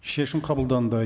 шешім қабылданды